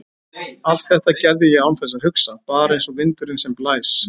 Allt þetta gerði ég án þess að hugsa, bara einsog vindurinn sem blæs.